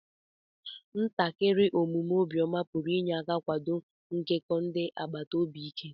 ntakiri omume obiọma pụrụ inye aka kwado nkekọ ndị agbata obi ike.